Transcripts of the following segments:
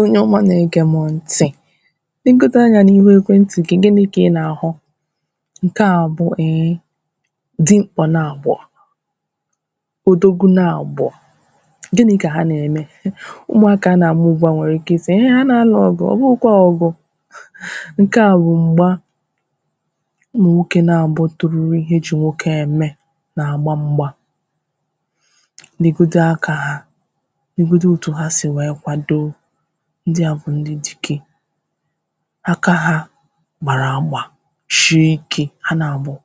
Onye ọmà na-ege m ntị̀ legodu anya n’ihu ekwentị̀ gị, gịnị ka ị na-ahụ̀ nke à bụ̀ eh dimkpà naabọ̀ odogwu naabọ̀ Gịnị ka ha na-eme? Ụmụakà na-agbumgba nwere ike ịsị̀, ihe ha na-alụ̀ ọgụ̀, ọ bụghụkwà ọgụ̀ nke à bụ̀ m̄gbà ụmụ nwoke naabọ̀ toruru ihe eji nwoke eme na-agba m̄gbà negodu akà ha negodù otū ha sì wee kwado ndị àbụ̀ ndị̀ dikè aka ha gbara agbà shie ike ha naabọ̀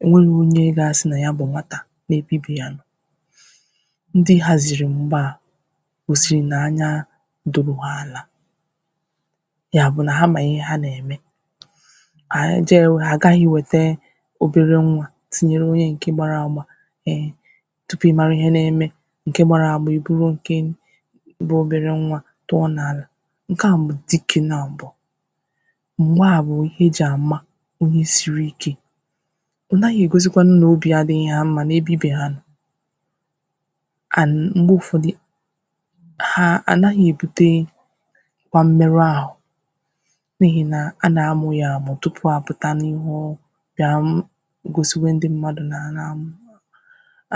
o nwelunù onye ga-asị̀ na yà bụ̀ nwatà n’ebe ibi yà nọ̀ ndị̀ haziri m̄gbà à gosiri na anya dobu ha alà ya bụ̀ na ha mà ihe ha na-eme anyị̀ jewu, ha agaghị̀ iwetee obere nwa tinyere onye nke gbara agbà mee tupu ị marà ihe na-emè nke gbara agba iburu nkem bụ̀ obere nwa tụọ̀ n’alà nke à bụ̀ dịke naabò m̄gba à bụ̀ ihe eji amà onye siri ike ọ naghị egosikwanù na obì adighị̀ ya mma n’ebe ibi ya nọ̀ and m̄gbe ụfọdị̀ ha anaghị̀ ebutee kwa mmerù ahụ n’ihi na a na-amụ ya amụ̀ tupu apụtà n’ihu ọ ọ̀ ga-amụ̀ gosiwe ndị̀mmadụ̀ na a na-amụ̀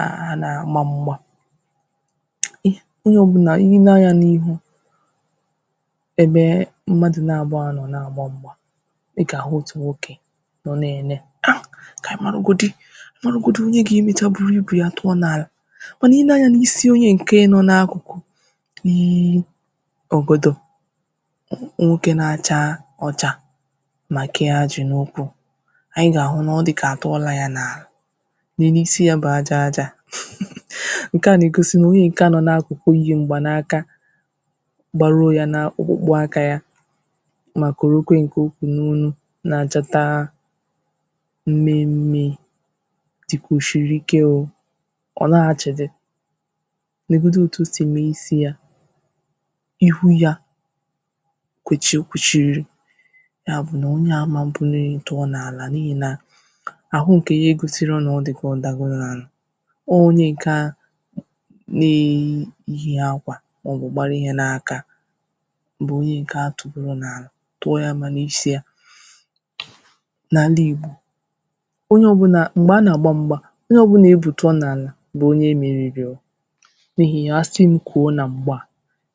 a a na-agba m̄gbà ị onye ọbụnà i nee anyà n’ihu ebe e e mmadụ̀ naabọ̀ ànọ̀ na-agba m̄gbà ị ga-ahụ̀otù nwokè nọ na-ene ha ta anyị̀ maụgodi marugodì onye ga-emechà buru ibe yà tụọ̀ n’alà manà i nee anya n’isi onye nke nọ̀ n’akụkụ̀ i i i ogodò nwoke na-achaa ọchà ma kee ajị̀ n’ụkwụ̀ anyị ga-ahụ na ọ dịkà a tụọlà ya n’alà nenu na isi ya bụ̀ aja ajà nke à na-egosi onye nke à nọ n’akụkụ̀ yi m̄gba n’akà gbaruo yà n’ọkpụkpụ̀ akà yà ma korokwe nke oku n’onū na-achọtaà mmemme dịkà o shiri ike o ọ laa achịdị̀ legodu otù o sì mee isi yà iwhu yà kwechì o kweshiri ya bụ̀ onye à amanwụ̀ buni elu tụọ n’anà n’ihi nà ahụ̀ nke yà egosiro na ọ dịkà o dagoro n’anà onye nke à nee e yi akwà maọ̀bụ̀ gbarà ihe n’akà bụ̀ onye nke atugoro n’anà tụọ ya manà isi yà na ndị̀ Igbò onye ọbụnà, m̄gbe a na-agba m̄gbà onye ọbụnà ebu tụọ n’anà bụ̀ onye meririọ̀ n’ihi a sị m kwuo na m̄gba à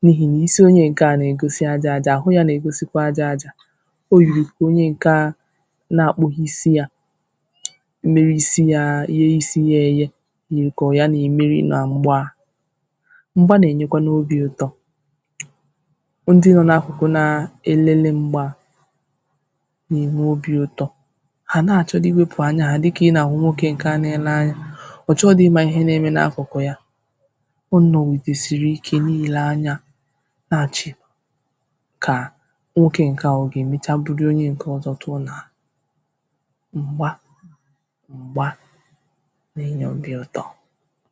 n’ihi na isi onye nke à na-egosì aja ajà, ahụ ya na-egosikwà aja ajà o yiri ka onye nke a a na-akpụghị̀ isi yà mere isi ya a, ghe isi ya eghe yiri ka ọ yà na-emerì na m̄gba à m̄gbà na-enyekwanù obì ụtọ̀ ndị̀ nọ n’akụkụ̀ naa elele m̄gba à na-enwe obì ụtọ̀ ha na-achọdị̀ ewepù anya ha dịkà ị na-ahụ̀ nwoke nke na-ele anya ọ chọhịdị̀ ịmà ihe na-eme n’akụkụ̀ yà ọ nọwudorosirike n’ihi laa anya na-achị̀ kā nwoke nke à, ọ ga-emechà bulie onye nke ọzọ̀ tụọ̀ n’anà m̄gbà m̄gbà na-enye obì ụtọ̀